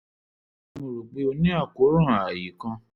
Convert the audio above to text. rò pé o ní àkóràn ààyé kan